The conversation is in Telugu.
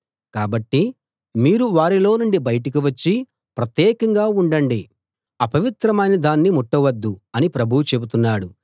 కాబట్టి మీరు వారిలో నుండి బయటికి వచ్చి ప్రత్యేకంగా ఉండండి అపవిత్రమైన దాన్ని ముట్టవద్దు అని ప్రభువు చెబుతున్నాడు